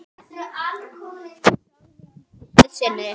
Hún sagði í gleði sinni